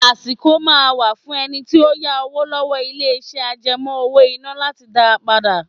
Àsìkò máa ń wà fún ẹni tí ó yá owó lọ́wọ́ ilé iṣẹ́ àjẹmó owó-ìná láti dá padà.